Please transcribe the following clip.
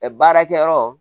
Ɛ baarakɛyɔrɔ